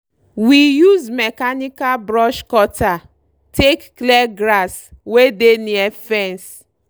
we use mechanical brush cutter take clear grass wey dey near fence